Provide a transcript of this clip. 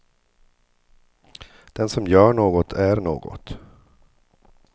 Den som gör något är något.